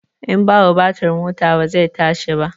In babu batir mota ba zai tashi ba